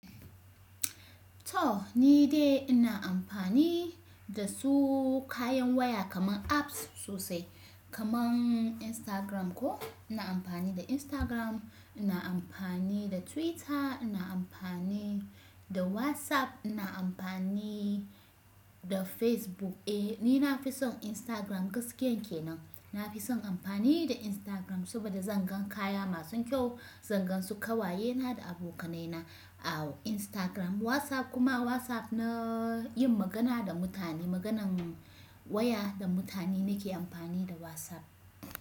To ni dai ina amfani da su kayan waya kaman apps sosai kaman Instagram ko ina amfani da Instagram, ina amfani da Twitter, ina amfani da WhatsApp, ina amfani da Facebook. Eh ni na fi son Instagram gaskiyan kenan. Na fi son amfani da Instagram saboda zan gan kaya masun kyau, zan gansu ƙawayena da abokanaina a'u Instagram. WhatsApp kuma WhatsApp na yin magana da mutane, maganan waya da mutane nake amfani da WhatsApp.